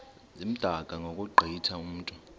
zimdaka ngokugqithe mntu